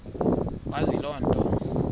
wazi loo nto